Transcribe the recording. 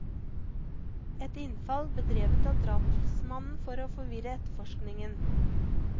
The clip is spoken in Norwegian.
Et innfall bedrevet av drapsmannen for å forvirre etterforskningen.